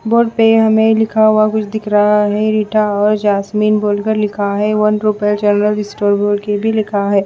board पे हमें लिखा हुआ कुछ दिख रहा है रीटा और जासमीन बोलकर लिखा है वन रुपए जनरल स्टोर के भी लिखा है